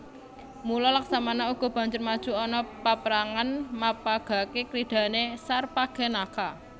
Mula Laksmana uga banjur maju ana paprangan mapagagaké kridhané Sarpakenaka